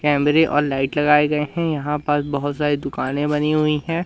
कैमरे और लाइट लगाए गए हैं यहां पास बहोत सारी दुकानें बनी हुई है।